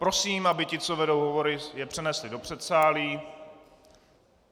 Prosím, aby ti, co vedou hovory, je přenesli do předsálí.